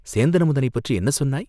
சேந்தன் அமுதனைப் பற்றி என்ன சொன்னாய்?